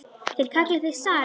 Þeir kalla þig zarinn!